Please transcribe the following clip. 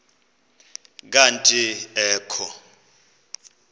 kanti ee kho